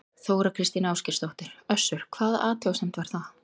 Þóra Kristín Ásgeirsdóttir: Össur, hvaða athugasemd var það?